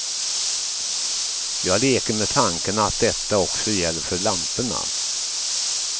Jag leker med tanken att detta också gäller för lamporna.